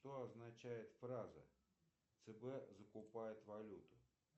что означает фраза цб закупает валюту